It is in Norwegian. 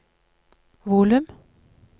volum